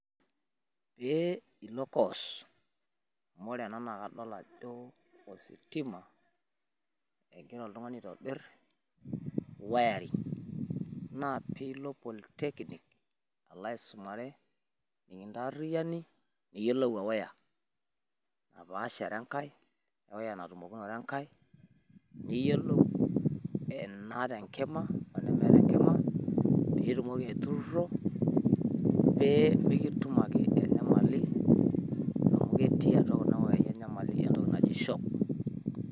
Pee ilo course amu ore ena naa kadol ajo ositima egira oltung'ani aitobirr wirering. Naa pee ilo Polytechnic alo aisumare pee kintaarriani niyiolou e wire natumokinore enkae. Niyiolou enaata enkima o nemeeta enkima pee itumoki aiturruro pee mikitum Ake enyamali amu ketii atua kuna wiyaii enyamali entoki naji shock.